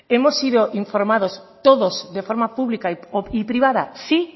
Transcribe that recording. hemos sido informados todos de forma pública y privada sí